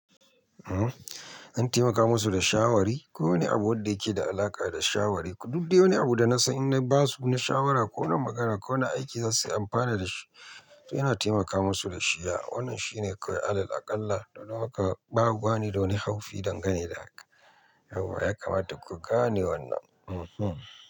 Zan taimaka musu da shawarwari. Ko wani abu wanda yake da alaƙa da shawarwari. Duk da wani abu da na san in na ba su na shawara ko wani magana ko wani aiki za suyi amfani da shi. To ina taimaka musu da shi. Ya wannan shine kawai alal aƙalla don haka bani da wani haufi dangane da haka. Yah, ya kamata ku gane wannan. Mhm.